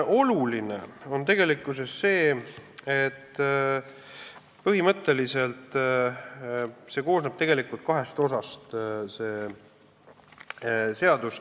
Oluline on see, et põhimõtteliselt koosneb see seadus kahest osast.